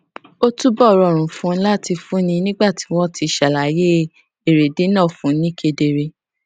ó túbò rọrùn fún un láti fúnni nígbà tí wón ti ṣàlàyé èrèdí náà fún un ni kedere